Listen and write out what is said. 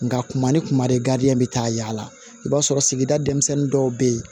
Nga kuma ni kuma de bɛ taa yaala i b'a sɔrɔ sigida denmisɛnnin dɔw bɛ yen